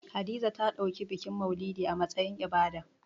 Hadiza ta ɗauki bikin maulidi a matsayin ibada